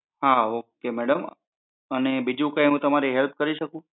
હા okay madam અને બીજુ કઈ હું તમારી help કરી શકું?